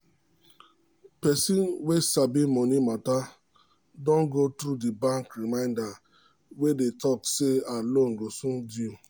person wey sabi money matter don go through di bank reminder wey dey talk say her loan go soon due.